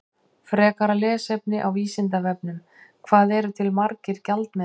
Frekara lesefni á Vísindavefnum: Hvað eru til margir gjaldmiðlar?